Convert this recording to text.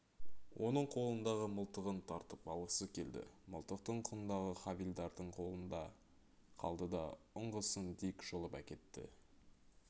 оның қолындағы мылтығын тартып алғысы келді мылтықтың құндағы хавильдардың қолында қалды да ұңғысын дик жұлып әкетті